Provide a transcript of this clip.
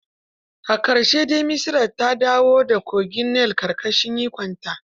A ƙarshe dai, Misra ta dawo da kogin Nil ƙarƙashin ikonta.